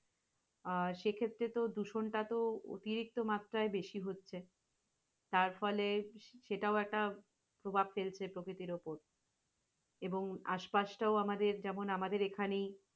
আহ সে ক্ষেত্রে তো দূষণটা তো অতিরিক্ত মাত্রা বেশি হচ্ছে। তারফলে সেটাও এটা প্রভাব ফেলছে প্রকিতির উপর এবং আসপাসটও আমাদের যেমন আমদের এখানেই